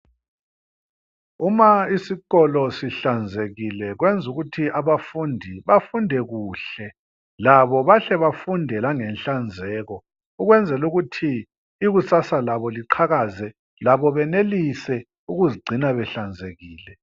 Uma isikolo sihlanzekile, kwenzukuthi abafundi bafunde kuhle labo bahle bafunde langenhlanzeko ukwenzelukuthi ikusasa labo liqhakaze labo benelise ukuzigcina behlanzekile.